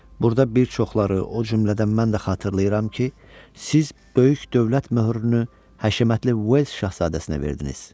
Burda bir çoxları, o cümlədən mən də xatırlayıram ki, siz böyük dövlət möhürünü həşəmətli Uels Şahzadəsinə verdiniz.